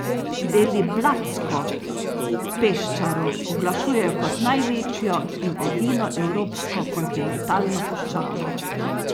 Deliblatsko peščaro oglašujejo kot največjo in edino evropsko kontinentalno puščavo.